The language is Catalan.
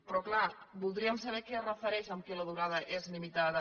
però clar voldríem saber a què es refereix amb el fet que la durada és limitada